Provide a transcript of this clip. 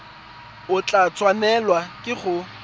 o tla tshwanelwa ke go